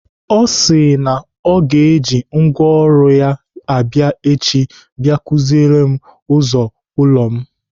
Ọ sị na ọ ga-eji ngwaọrụ abịa echi bia kụziere m ụzọ ụlọ m.